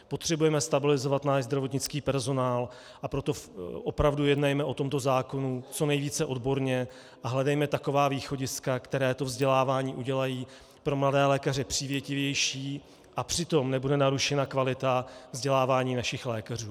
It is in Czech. Potřebujeme stabilizovat náš zdravotnický personál, a proto opravdu jednejme o tomto zákonu co nejvíce odborně a hledejme taková východiska, která to vzdělávání udělají pro mladé lékaře přívětivější, a přitom nebude narušena kvalita vzdělávání našich lékařů.